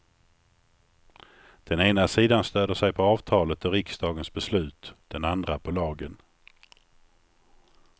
Den ena sidan stöder sig på avtalet och riksdagens beslut, den andra på lagen.